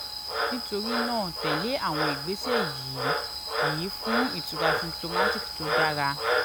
nítorí náà tẹ̀ lé àwọn ìgbésẹ̀ yìí yìí fún ìtura symptomatic tó dára